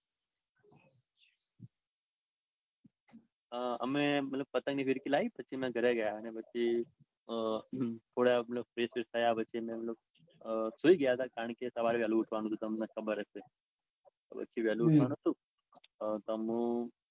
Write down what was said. અઅઅ અમે મતલબ પતંગની ફીરકી લાઈ ને પછી અમે ઘરે ગયા. અને પછી થોડા મતલબ fresh બ્રેશ થયા પછી અમે લોક સુઈ ગયા. કારણકે સવારે વેળા ઉઠવાનું હતું તમને ખબર જ છે. પછી વેલુ ઉઠવાનું હતું અઅ તમો